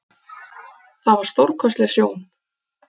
Það var stórkostleg sjón.